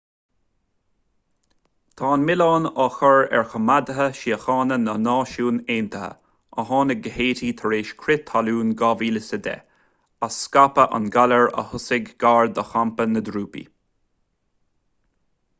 tá an milleán á chur ar choimeádaithe síochána na náisiún aontaithe a tháinig go háití tar éis crith talún 2010 as scaipeadh an ghalair a thosaigh gar do champa na dtrúpaí